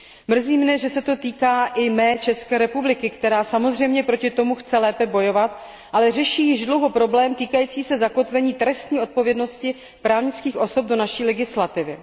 Mrzí mne, že se to týká i mé České republiky, která samozřejmě proti tomu chce lépe bojovat, ale řeší již dlouho problém týkající se zakotvení trestní odpovědnosti právnických osob do naší legislativy.